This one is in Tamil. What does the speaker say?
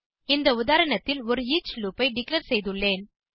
இந்த உதாரணத்தில் ஒரு ஈச் லூப் ஐ டிக்ளேர் செய்துள்ளேன்